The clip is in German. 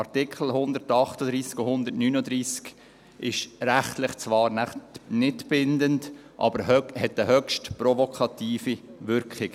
Artikel 138 und 139 sind rechtlich zwar nicht bindend, haben aber eine höchst provokative Wirkung.